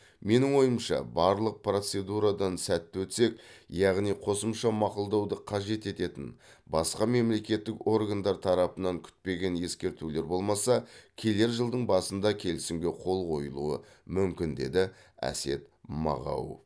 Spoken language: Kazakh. менің ойымша барлық процедурадан сәтті өтсек яғни қосымша мақұлдауды қажет ететін басқа мемлекеттік органдар тарапынан күтпеген ескертулер болмаса келер жылдың басында келісімге қол қойылуы мүмкін деді әсет мағауов